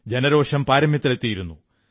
ജനരോഷം പാരമ്യത്തിലെത്തിയിരുന്നു